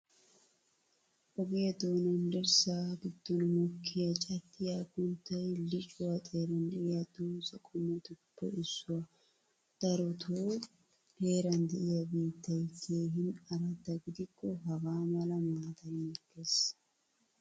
Ogiyaa dooanan dirssa giddon mokkiyaa caddiya aggunttay liccuwaa xeeran de'iyo doza qommotuppe issuwaa. Daroto heeran de'iyaa biittay keehin aradda gidikko hagaa mala maataay mokkees.